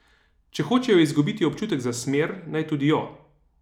Če hočejo izgubiti občutek za smer, naj tudi jo.